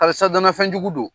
Halisa dana fɛn jugu don.